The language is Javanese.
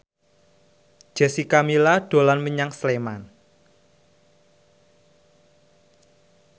Jessica Milla dolan menyang Sleman